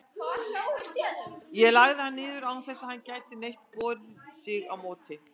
og lagði hann niður, án þess að hann gæti neitt borið sig á móti.